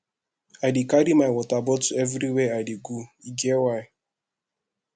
i dey carry my water bottle everywhere i dey go e get why